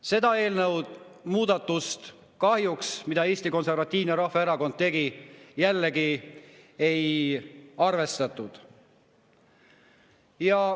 Seda muudatust, mille Eesti Konservatiivne Rahvaerakond tegi, kahjuks jällegi ei arvestatud.